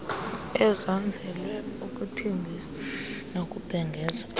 ezanzelwe ukuthengisa nokubhengeza